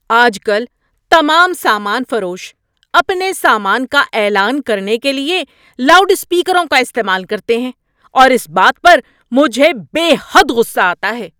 آج کل تمام سامان فروش اپنے سامان کا اعلان کرنے کے لیے لاؤڈ اسپیکروں کا استعمال کرتے ہیں اور اس بات پر مجھے بے حد غصہ آتا ہے۔